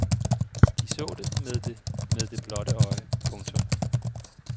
De så det med det med det blotte øje. punktum